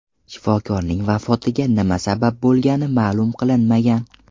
Shifokorning vafotiga nima sabab bo‘lgani ma’lum qilinmagan.